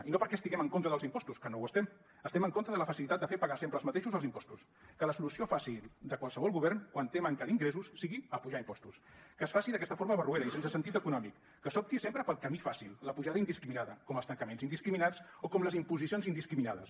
i no perquè estiguem en contra dels impostos que no ho estem estem en contra de la facilitat de fer pagar sempre als mateixos els impostos que la solució fàcil de qualsevol govern quan té manca d’ingressos sigui apujar impostos que es faci d’aquesta forma barroera i sense sentit econòmic que s’opti sempre pel camí fàcil la pujada indiscriminada com els tancaments indiscriminats o com les imposicions indiscriminades